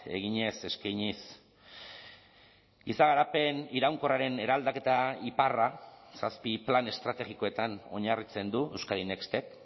eginez eskainiz giza garapen iraunkorraren eraldaketa iparra zazpi plan estrategikoetan oinarritzen du euskadin nextek